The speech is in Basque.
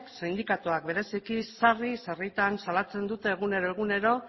sindikatuak bereziki sarri sarritan salatzen dute egunero egunero